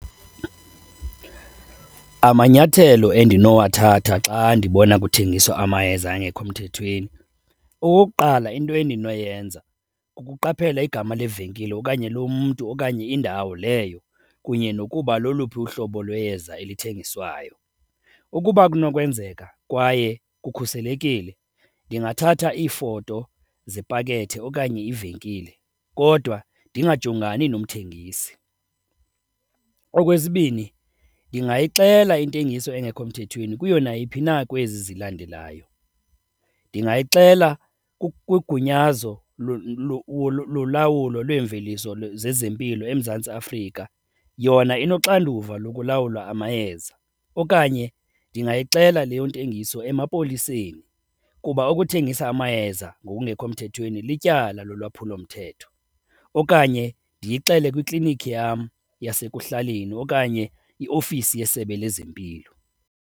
Amanyathelo endinowathatha xa ndibona kuthengiswa amayeza angekho mthethweni, okokuqala, into endinoyenza kukuqaphela igama levenkile okanye lomntu okanye indawo leyo kunye nokuba loluphi uhlobo lweyeza elithengiswayo. Ukuba kunokwenzeka kwaye kukhuselekile ndingathatha iifoto zepakethe okanye ivenkile kodwa ndingajongani nomthengisi. Okwesibini, ndingayixela intengiso engekho mthethweni kuyo nayiphi na kwezi zilandelayo. Ndingayixela kwigunyazo lolawulo lweemveliso zezempilo eMzantsi Afrika yona inoxanduva lokulawula amayeza, okanye ndingayixela leyo ntengiso emapoliseni kuba ukuthengisa amayeza ngokungekho mthethweni lityala lolwaphulomthetho, okanye ndiyixelele kwiklinikhi yam yasekuhlaleni okanye iofisi yeSebe lezeMpilo.